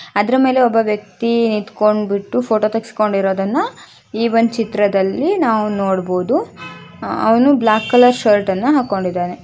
ಅದರ ಮೇಲೆ ಒಬ್ಬ ವ್ಯಕ್ತಿ ನಿಂತ್ಕೊಂಡ್ ಬಿಟ್ಟು ಫೋಟೋ ತೆಗೆಸ್ಕೊಂಡಿರೋದನ್ನ ಈ ಒಂದು ಚಿತ್ರದಲ್ಲಿ ನಾವು ನೋಡಬಹುದು ಅವನು ಬ್ಲಾಕ್ ಕಲರ್ ಶರ್ಟ್ ಅನ್ನು ಹಾಕೊಂಡಿದ್ದಾನೆ .